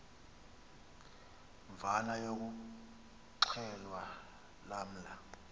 mvana yokuxhelwa lamla